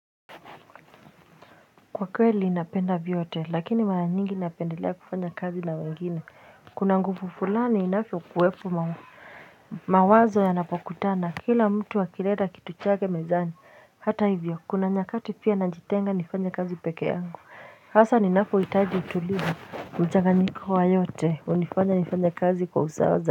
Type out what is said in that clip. Kwa kweli napenda vyote lakini mara nyingi napendelea kufanya kazi na wengine kuna nguvu fulani inavyokupo mawazo mawazo yanapokutana kila mtu akileta kitu chake mezani hata hivyo kuna nyakati pia najitenga nifanye kazi pekee yangu hasa ninapohitaji utulivu mchanganyiko wa yote hunifanya nifanye kazi kwa usawa za.